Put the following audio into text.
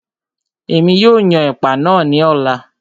Èmi yóò yan ẹ̀pà náà ní ọ̀la